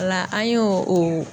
Ɔ la an y'o o